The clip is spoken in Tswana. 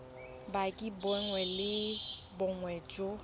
bopaki bongwe le bongwe jo